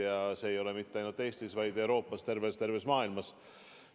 Ja see ei ole nii mitte ainult Eestis, vaid kogu Euroopas ja terves maailmas.